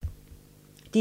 DR1